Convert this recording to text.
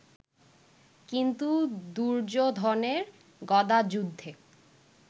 কিন্তু দুর্যোধনের গদাযুদ্ধে